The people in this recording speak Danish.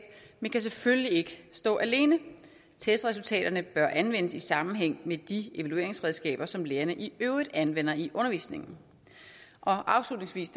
men kan selvfølgelig ikke stå alene testresultaterne bør anvendes i sammenhæng med de evalueringsredskaber som lærerne i øvrigt anvender i undervisningen afslutningsvis